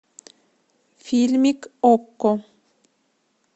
фильмик окко